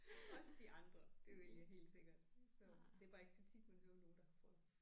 Også de andre det ville jeg helt sikkert så det er bare ikke så tit man hører om nogen der har frøer